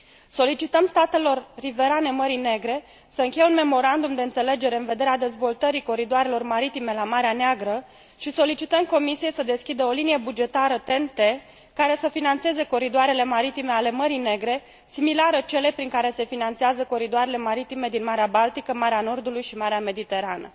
Solicităm statelor riverane Mării Negre să încheie un memorandum de înțelegere în vederea dezvoltării coridoarelor maritime la Marea Neagră și solicităm Comisiei să deschidă o linie bugetară TEN T care să finanțeze coridoarele maritime ale Mării Negre, similară celei prin care se finanțează coridoarele maritime din Marea Baltică, Marea Nordului și Marea Mediterană.